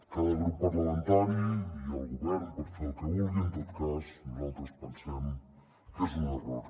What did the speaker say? cada grup parlamentari i el govern poden fer el que vulguin en tot cas nosaltres pensem que és un error